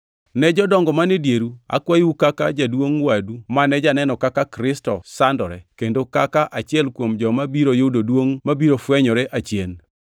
Ne jodongo man e dieru akwayou kaka jaduongʼ wadu mane janeno kaka Kristo sandore, kendo kaka achiel kuom joma biro yudo duongʼ mabiro fwenyore achien: